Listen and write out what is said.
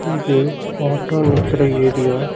இது ஆட்டோ நிக்கிற ஏரியா .